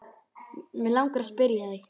Mig langar að spyrja þig.